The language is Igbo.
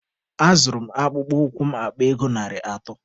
A zụrụ m akpụkpọ ụkwụ m akpa ego narị atọ.